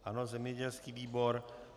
Ano, zemědělský výbor.